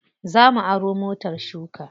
Za mu aro motar shuka.